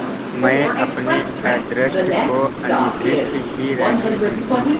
मैं अपने अदृष्ट को अनिर्दिष्ट ही रहने दूँगी